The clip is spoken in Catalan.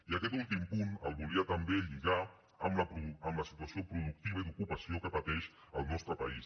i aquest últim punt el volia també lligar amb la situació productiva i d’ocupació que pateix el nostre país